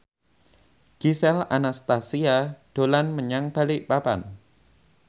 Gisel Anastasia dolan menyang Balikpapan